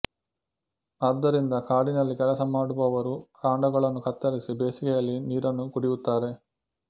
ಆದ್ದರಿಂದ ಕಾಡಿನಲ್ಲಿ ಕೆಲಸ ಮಾಡುವವರು ಕಾಂಡಗಳನ್ನು ಕತ್ತರಿಸಿ ಬೇಸಿಗೆಯಲ್ಲಿ ನೀರನ್ನು ಕುಡಿಯುತ್ತಾರೆ